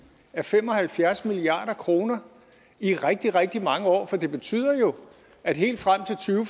af fem og halvfjerds milliard kroner i rigtig rigtig mange år for det betyder jo at helt frem til to